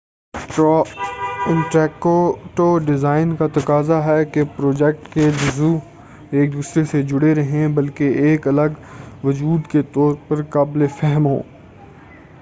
interactive design کا تقاضا ہے کہ پروجیکٹ کے جزوء ایک دوسرے سے جڑے رہیں بلکہ ایک الگ وجود کے طور پر بھی قابل فہم ہوں